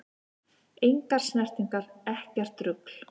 Engar snertingar, ekkert rugl!